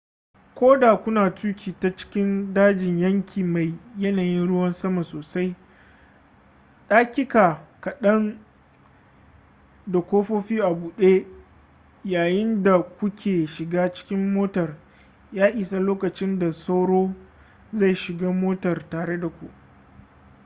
ko da kuna tuki ta cikin dajin yanki mai yanayin ruwan sama sosai daƙiƙa kaɗan da ƙofofi a buɗe yayin da ku ke shiga cikin motar ya isa lokacin da sauro zai shiga motar tare da ku